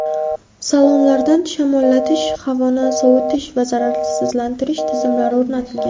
Salonlarda shamollatish, havoni sovitish va zararsizlantirish tizimlari o‘rnatilgan.